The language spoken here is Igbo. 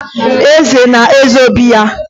Eze na-eze obi ya.